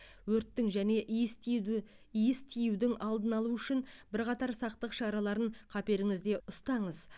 өрттің және иіс тюді иіс тиюдің алдын алу үшін бірқатар сақтық шараларын қаперіңізде ұстаңыз